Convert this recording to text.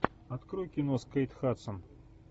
открой кино с кейт хадсон